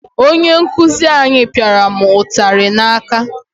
Onye nkuzi anyị pịara mụ ụtarị n'aka.